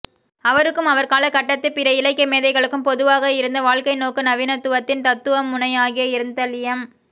அவருக்கும் அவர்காலகட்டத்துப் பிற இலக்கியமேதைகளுக்கும் பொதுவாக இருந்த வாழ்க்கைநோக்கு நவீனத்துவத்தின் தத்துவமுனையாகிய இருத்தலியம்